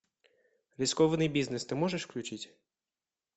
рискованный бизнес ты можешь включить